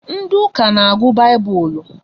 Ndị ụka n'agụ baibulu